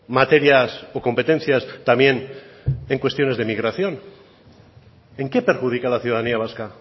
materias o competencias también en cuestiones de migración en qué perjudica a la ciudadanía vasca